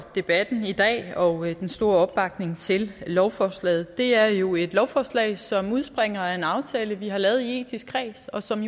debatten i dag og til den store opbakning til lovforslaget det er et jo et lovforslag som udspringer af en aftale vi har lavet i etisk kreds og som